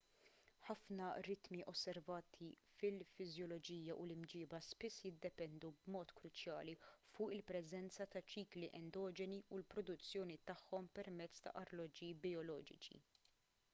ħafna ritmi osservati fil-fiżjoloġija u l-imġieba spiss jiddependu b'mod kruċjali fuq il-preżenza ta' ċikli endoġeni u l-produzzjoni tagħhom permezz ta' arloġġi bijoloġiċi